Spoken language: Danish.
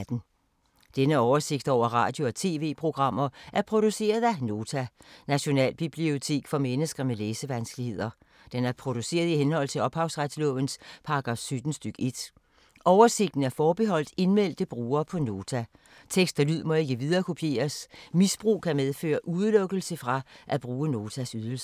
Denne oversigt over radio og TV-programmer er produceret af Nota, Nationalbibliotek for mennesker med læsevanskeligheder. Den er produceret i henhold til ophavsretslovens paragraf 17 stk. 1. Oversigten er forbeholdt indmeldte brugere på Nota. Tekst og lyd må ikke viderekopieres. Misbrug kan medføre udelukkelse fra at bruge Notas ydelser.